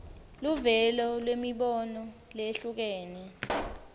luvelo lwemibono leyehlukene